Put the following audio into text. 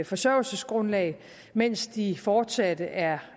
forsørgelsesgrundlag mens de fortsat er